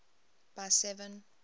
by seven